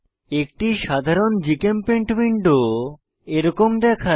একটি সাধারণ GChemPaint window এরকম দেখায়